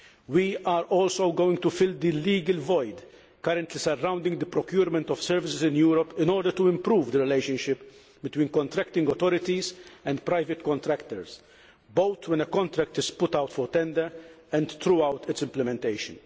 We are also going to fill the legal void currently surrounding the procurement of services in Europe in order to improve the relationship between contracting authorities and private contractors, both when a contract is put out for tender and throughout its implementation.